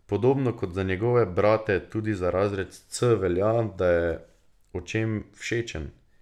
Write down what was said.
Podobno kot za njegove brate tudi za razred C velja, da je očem všečen.